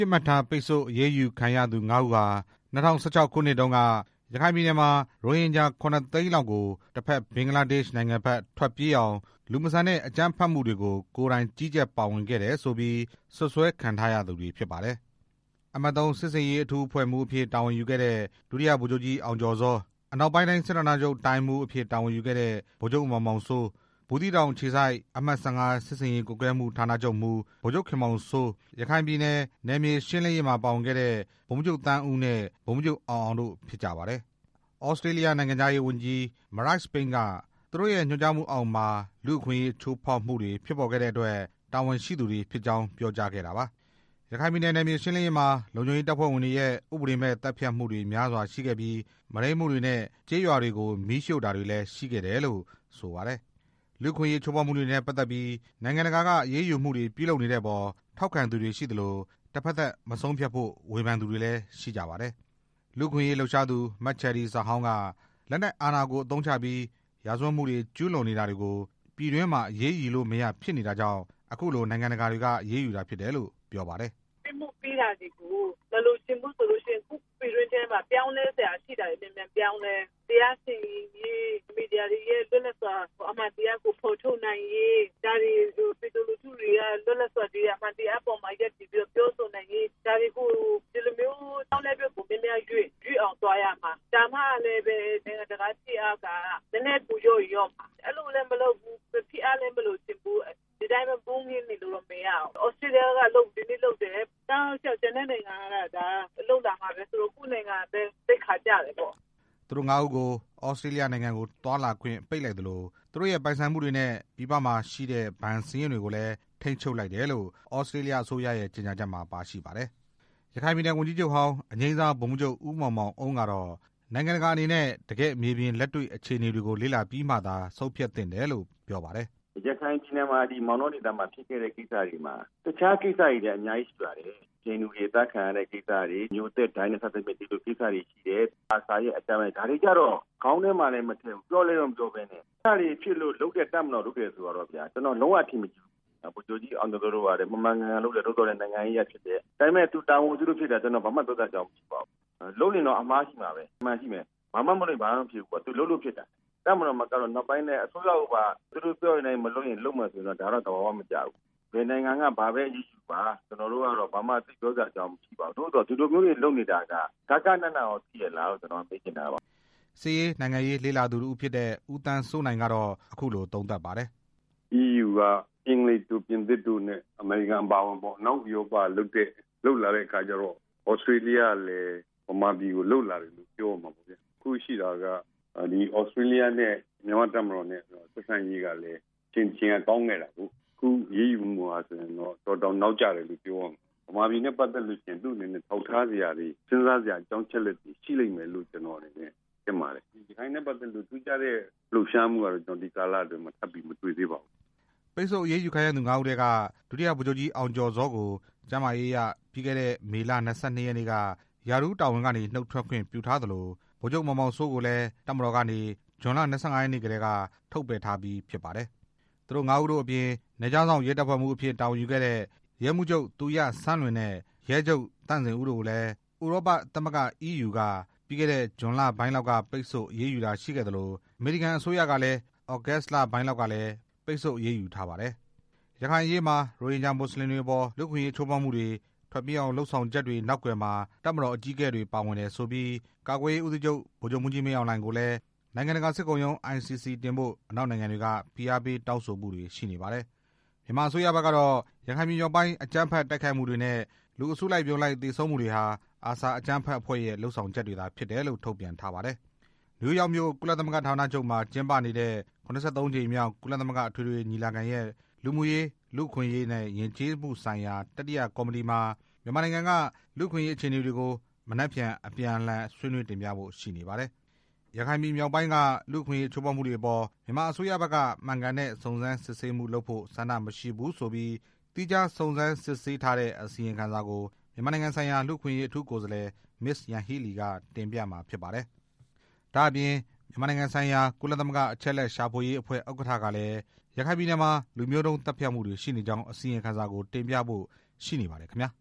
စ်မှတ်ထား ပိတ်ဆို့အရေးယူခံရသူ ၅ ဦးဟာ ၂၀၁၆ ခုနှစ်တုန်းက ရခိုင်ပြည်နယ်မှာ ရိုဟင်ဂျာ ၇ သိန်းလောက်ကို တစ်ဖက် ဘင်္ဂလားဒေ့ရှ်နိုင်ငံဖက် ထွက်ပြေးအောင် လူမဆန်တဲ့အကြမ်းဖက်မှုတွေကို ကိုယ်တိုင် ကြီးကြပ်ပါဝင် ခဲ့တယ်ဆိုပြီး စွပ်စွဲခံထားရသူတွေ ဖြစ်ကြပါတယ်။ အမှတ် ၃ စစ်ဆင်ရေးအထူးအဖွဲ့မှူးအဖြစ် တာဝန်ယူခဲ့တဲ့ ဒုတိယဗိုလ်ချုပ်ကြီး အောင်ကျော်ဇော၊ အနောက်ပိုင်း တိုင်းစစ်ဌာနချုပ် တိုင်းမှုးအဖြစ် တာဝန်ယူခဲ့တဲ့ ဗိုလ်ချုပ်မောင်မောင်စိုး၊ ဘူးသီးတောင်အခြေစိုက် အမှတ် ၁၅ စစ်ဆင်ရေးကွပ်ကဲမှုဌာနချုပ်မှူး ဗိုလ်ချုပ် ခင်မောင်စိုး၊ ရခိုင်ပြည်နယ် နယ်မြေရှင်းလင်းရေးမှာပါဝင်ခဲ့တဲ့ ဗိုလ်မှူးချုပ်သန်းဦးနဲ့ ဗိုလ်မှူးချုပ်အောင်အောင် တို့ ဖြစ်ပါတယ်။ သြစတြေးလျနိုင်ငံခြားရေးဝန်ကြီး မရိုက်စ်ပိန်းက သူတို့ရဲ့ညွှန်ကြားမှုအောက်မှာ လူ့ အခွင့်အရေးချိုးဖောက်မှုတွေ ဖြစ်ပေါ်ခဲ့တဲ့အတွက် တာဝန်ရှိသူတွေဖြစ်ကြောင်း ပြောကြားခဲ့တာပါ။ ရခိုင်ပြည်နယ်နယ်မြေရှင်းလင်းရေးမှာ လုံခြုံရေးတပ်ဖွဲ့ဝင်ရဲ့ ဥပဒေမဲ့သတ်ဖြတ်မှုတွေများစွာရှိခဲ့ပြီး မုဒိန်းမှုတွေ နဲ့ ကျေးရွာတွေကို မီးရှို့တာတွေလည်း ရှိခဲ့တယ်လို့ ဆိုပါတယ်။ လူ့အခွင့်အရေးချိုးဖောက်မှုတွေနဲ့ ပတ်သက်ပြီး နိုင်ငံတကာက အရေးယူမှုတွေ ပြုလုပ်နေတဲ့အပေါ် ထောက်ခံသူတွေ ရှိသလို တဖက်သတ်မဆုံးဖြတ်ဖို့ ဝေဖန်သူတွေလည်း ရှိပါတယ်။ လူ့အခွင့်အရေးလှုပ်ရှားသူ မချယ်ရီဇဟောင် က လက်နက်အာဏာကို အသုံးချပြီး ရာဇဝတ်မှုတွေကျူးလွန်နေ တာတွေကို ပြည်တွင်းမှာအရေးယူလို့မရ ဖြစ်နေတာကြောင့် အခုလိုနိုင်ငံတကာတွေက အရေးယူတာဖြစ်တယ်လို့ ပြောပါတယ်။ ‘’ပြစ်မှုပြစ်ဒဏ်တွေကို မလိုချင်ဘူးဆိုရင် ကိုယ့်ပြည်တွင်းထဲမှာ ပြောင်းလဲစရာရှိတာတွေ မြန်မြန်ပြောင်းလဲ တရားစီရင်ရေး မီဒီယာတွေရဲ့ လွတ်လပ်စွာ အမှန်တရားဖော်ထုတ်နိုင်ရေး ဒါတွေပြည်သူလူထုက လွတ်လပ်စွာ အမှန်တရားပေါ်မှာ ရပ်တည်ပြီးတော့ ပြောဆိုနိုင်ရေး ဒီလိုမျိုးအပြောင်းအလဲကို ရွှေ့အောင်သွားရမှာ ဒါမှလည်းပဲ နိုင်ငံတကာရဲ့ဖိအားတွေ နည်းနည်းပိုလျော့ရင်လျော့မှာ အဲလိုလည်းမလုပ်ဘူး ဖိအားလည်းမလိုချင်ဘူးဆိုရင် ဒီတိုင်းပဲနေလို့တော့မရဘူး၊ သြစတြေးလျက ဒီနေ့လုပ်တယ်၊ တောက်လျှောက်ကျန်တဲ့နိုင်ငံတွေက လုပ်လာမှာ ကိုယ့်နိုင်ငံပဲ သိက္ခာကျတယ်’’ သူတို့ ၅ ဦးကို သြစတြေးလျနိုင်ငံကို ခရီးသွားလာခွင့် ပိတ်လိုက်သလို သူတို့ရဲ့ ပိုင်ဆိုင်မှုတွေနဲ့ ပြည်ပမှာရှိတဲ့ ဘဏ်စာရင်းတွေကိုလည်း ထိန်းချုပ်လိုက်တယ်လို့ သြစတြေးလျအစိုးရရဲ့ ကြေညာချက်မှာ ပါ ရှိပါတယ်။ ရခိုင်ပြည်နယ်ဝန်ကြီးချုပ်ဟောင်း အငြိမ်းစားဗိုလ်မှူးချုပ် ဦးမောင်မောင်အုန်းကတော့ နိုင်ငံတကာအနေနဲ့ တကယ့်မြေပြင် လက်တွေ့အခြေအနေတွေကို လေ့လာပြီးမှသာ ဆုံးဖြတ်သင့်တယ်လို့ ပြောပါတယ်။ ‘’ရခိုင်ပြည်နယ်မှာ မောင်တောဒေသမှာဖြစ်ခဲ့တဲ့ကိစ္စတွေမှာ တခြားကိစ္စတွေလည်း အများကြီးရှိပါတယ်၊ ဟိန္ဒူတွေ အသတ်ခံရတယ်၊ မျို၊ သက် ၊ ဒိုင်းနက်လူမျိုးတွေ အသတ်ခံရတယ်၊ အာဆာရဲ့အကြမ်းဖက်မှု ဒါတွေ ကျတော့ ခေါင်းထဲမှာလည်း မထည့်ဘူး ပြောလည်း မပြောဘူးဆိုတော့ အဲဒါတွေလုပ်တဲ့ တပ်မတော်ကိုပြောလို့ ကျနော်လုံးဝကို အထင်မကြီးဘူးဗျာ၊ ဗိုလ်ချုပ်ကြီးအောင်ကျော်ဇော တို့ မှန်မှန်ကန်ကန်လုပ်တယ်၊ ဒါပေမဲ့ သူတာဝန်အရလုပ်တယ် ဘာမှပြောစရာမရှိဘူး၊ လုပ်ရင်တော့အမှားရှိမှာပဲ အမှန်ရှိမှာပဲ ဘာမှမလုပ်ရင် ဘာမှဖြစ်မှာ မဟုတ်ဘူး သူလုပ်လို့ဖြစ်တာ၊ တပ်မတော်မကလို့ နောက်ပိုင်းလည်းအစိုးရကို သူတို့ပြောတဲ့အတိုင်း မလုပ်ရင် လုပ်မယ်ဆိုတာတော့ သဘာဝမကျဘူး၊ ဘယ်နိုင်ငံက ဘာပဲအရေးယူယူပါ ဘာမှတော့မပြောချင်ပါဘူး သို့သော်ဒီ လိုမျိုးတွေလုပ်နေတာ ဂဃဏနရောသိရဲ့လားဆိုတာ ကျနော်ပြောချင်ပါတယ်’’ စစ်ရေးနိုင်ငံရေးလေ့ လာသူတစ်ဦးဖြစ်တဲ့ ဦးသန်းစိုးနိုင် ကတော့ အခုလို သုံးသပ်ပါတယ်။ ‘’အီးယူက အင်္ဂလိပ်တို့ ပြင်သစ်တို့နဲ့ အမေရိကန်ပေါ့ အနောက်နိုင်ငံတွေက လုပ်လာတဲ့အခါကျတော့ သြစတြေးလျကလည်း မြန်မာပြည်ကို လုပ်လာတယ်လို့ပြောရမှာပေါ့ဗျာ၊ တခုရှိတာက သြစတြေးလျနဲ့ မြန်မာ့တပ်မတော် ဆက်ဆံရေးကလည်း အချိန်တစ်ချိန်ကကောင်းခဲ့တာကို၊ အခုအရေးယူမှုဟာဆိုရင်တော့ တော်တော်တောင် နောက်ကျတယ်လို့ပြောရမယ်၊ မြန်မာပြည်နဲ့ပတ်သက်လာရင် သူ့အနေနဲ့ ထောက်ထား စရာတွေ စဉ်းစားစရာ အကြောင်းအချက်အလက်တွေရှိလိမ့်မယ်လို့ထင်တယ်၊ ရခိုင်နဲ့ပတ်သက်လို့ ထူးခြားတဲ့ လှုပ်ရှားမှုကတော့ ဒီကာလအတွင်း သိပ်မတွေ့ရပါဘူး ’’ ပိတ်ဆို့အရေးယူခံရသူ ၅ ဦးထဲက ဒုတိယဗိုလ်ချုပ်ကြီးအောင်ကျော်ဇောကို ကျန်းမာရေးအရ ပြီးခဲ့တဲ့ မေလ ၂၂ ရက်နေ့ က ရာထူးတာဝန်ကနေ နှုတ်ထွက်ခွင့်ပြုထားသလို ဗိုလ်ချုပ်မောင်မောင်စိုးကိုလည်း တပ်မတော်ကနေ ဇွန်လ ၂၅ ရက်နေ့ကတည်းက ထုတ်ပယ်ထားပြီးဖြစ်ပါတယ်။ သူတို့ ၅ ဦးတို့အပြင် နယ်ခြားစောင့်ရဲတပ်ဖွဲ့မှူးအဖြစ် တာဝန်ယူခဲ့တဲ့ ရဲမှုးချုပ် သူရစန်းလွင်နဲ့ ရဲချုပ် သန့်ဇင်ဦး တို့ကိုလည်း ဥရောပသမဂ္ဂ က ပြီးခဲ့တဲ့ဇွန်လပိုင်းလောက်က ပိတ်ဆို့အရေးယူတာရှိခဲ့သလို အမေရိကန်အစိုးရကလည်း သြဂုတ်လပိုင်းလောက်ကလည်း ပိတ်ဆို့အရေးယူထားပါတယ်။ ရခိုင်အရေးမှာ ရိုဟင်ဂျာမွတ်စလင်တွေအပေါ် လူ့အခွင့်အရေးချိုးဖောက်မှုတွေ ထွက်ပြေးအောင်ဆောင်ရွက် ချက်တွေနောက်ကွယ်မှာ တပ်မတော်အကြီးအကဲတွေ ပါဝင်တယ်ဆိုပြီး ကာကွယ်ရေးဦးစီးချုပ် ဗိုလ်ချုပ်မှူးကြီး မင်းအောင်လှိုင်ကိုလည်း နိုင်ငံတကာစစ်ခုံရုံး ICC တင်ဖို့ အနောက်နိုင်ငံတွေက ဖိအားပေး တောင်းဆိုမှုတွေ ရှိနေပါတယ်။ မြန်မာအစိုးရဘက်ကတော့ ရခိုင်ပြည်မြောက်ပိုင်း အကြမ်းဖက်တိုက်ခိုက်မှုတွေနဲ့ လူအစုလိုက်အပြုံလိုက် သေဆုံးမှုတွေဟာ ARSA အကြမ်းဖက်အဖွဲ့ရဲ့ လုပ်ဆောင်ချက်တွေသာ ဖြစ်တယ်လို့ ထုတ်ပြန်ထားပါတယ်။ နယူးယောက်မြို့ ကုလသမဂ္ဂဌာနချုပ်မှာ ကျင်းပနေတဲ့ ၇၃ ကြိမ်မြောက် ကုလသမဂ္ဂအထွေထွေ ညီလာခံရဲ့လူမှုရေး၊ လူ့အခွင့်အရေးနဲ့ ယဉ်ကျေးမှုဆိုင်ရာ တတိယကော်မတီမှာ မြန်မာနိုင်ငံက လူ့အခွင့်အရေးအခြေအနေတွေကို မနက်ဖြန် အပြန်အလှန် ဆွေးနွေးတင်ပြဖို့ရှိနေပါတယ်။ ရခိုင်ပြည်မြောက်ပိုင်းက လူ့အခွင့်အရေးချိုးဖောက်မှုတွေအပေါ် မြန်မာအစိုးရဘက်က မှန်ကန်တဲ့ စုံစမ်းစစ်ဆေးမှုလုပ်ဖို့ ဆန္ဒမရှိဘူးဆိုပြီး သီးခြားစုံစမ်းစစ်ဆေးထားတဲ့ အစီရင်ခံစာကို မြန်မာနိုင်ငံဆိုင်ရာ လူ့အခွင့်အရေး အထူးကိုယ်စားလှယ် မစ္စယန်ဟီးလီ က တင်ပြမှာဖြစ်ပါတယ်။ ဒါ့အပြင် မြန်မာနိုင်ငံဆိုင်ရာ ကုလသမဂ္ဂအချက်အလက်ရှာဖွေရေးအဖွဲ့ ဥက္ကဌ ကလည်း ရခိုင်ပြည်နယ်မှာ လူမျိုးတုန်းသတ်ဖြတ်မှုတွေ ရှိနေကြောင်း အစီရင်ခံစာကို တင်ပြဖို့ ရှိနေပါတယ်ခင်ဗျာ။